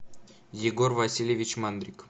егор васильевич мандрик